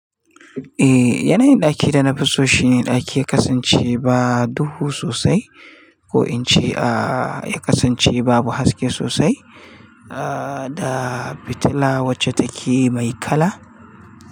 Eh, yanayin ɗakin da na fi so shine ɗaki ya kasance ba duhu sosai ko in ce a ya kasance babu haske sosai a da fitila wacce takeyi mai kala.